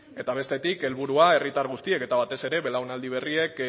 eta bestetik helburua herritar guztiek eta batez ere belaunaldi berriek